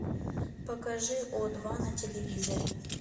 покажи о два на телевизоре